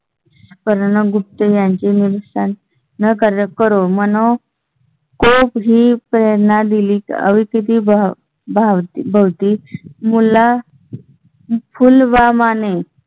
करुणा, गुप्ते यांची माहिती स्थान करून मनो. ची प्रेरणा दिली अवती भवती फुलवा माने